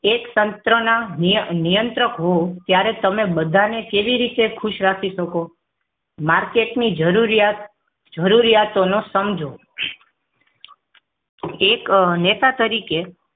એક તંત્રના નિયં નિયંત્રક હોવ ત્ત્યારે તમે બધા ને કેવી રીતે ખુશ રાખી શકો માર્કેટની જરૂરિયા જરૂરિયાત ને સમજો એક નેતા તરીકે